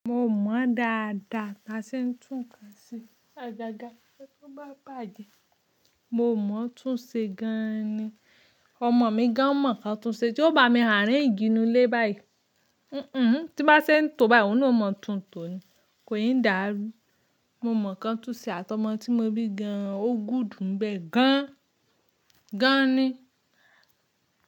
Mo mọ̀ dáadáa ká ṣe ń tún nǹkan ṣe. Àgàgà, tó bá bàjẹ́, mo mọ̀ tún ṣe gan ni. Ọmọ mi gan mọ̀ ká tún ṣe tí ó bá mi arrange inulé báyìí. Tí bá ṣe ń tó báyìí, òun na o mọ tún tò ni, kò yí ń dàrú. Mo máa ká tún ṣe àti ọmọ tí mo bí gan, ó good unbẹ́ẹ̀ gan, gan ni.